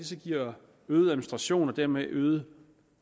så giver øget administration og dermed øget